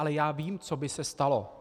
Ale já vím, co by se stalo.